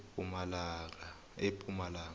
epumalanga